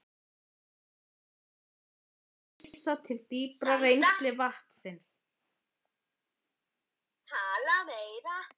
Hann lét sér nægja að vísa til dýpra rennslis vatnsins.